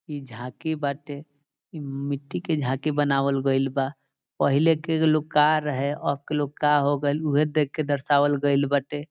इ झांकी बाटे इ मिठ्ठी के झकि बनावल गईल बा पहिले के लोग का रहे अब के लोग का होगील उ हे देख के दर्शावल गईल बाटे।